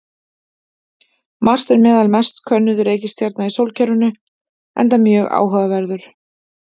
Mars er meðal mest könnuðu reikistjarna í sólkerfinu enda mjög áhugaverður.